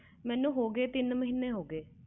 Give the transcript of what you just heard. ਮੈਨੂੰ ਹੋ ਗਏ ਤਿੰਨ ਮਹੀਨੇ